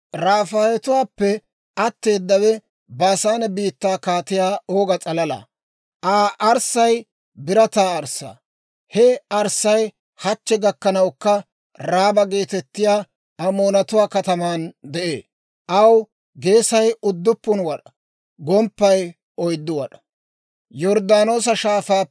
(Rafaayetuwaappe atteedawe Baasaane biittaa Kaatiyaa Ooga s'alalaa. Aa arssay birataa arssaa; he arssay hachche gakkanawukka Raaba geetettiyaa Amoonatuwaa kataman de'ee; aw geesay udduppun wad'aa; gomppaykka oyddu wad'aa.)